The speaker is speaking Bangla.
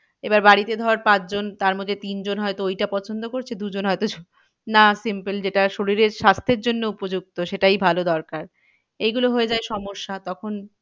এবার বাড়িতে ধর পাঁচ জন তার মধ্যে তিন জন হয়তো ওইটা পছন্দ করছে দু জন হয়তো না simple যেটা শরীরের স্বাস্থ্যের জন্য উপযুক্ত সেটাই ভালো দরকার এইগুলো হয়ে যায় সমস্যা তখন,